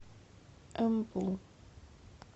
эмбу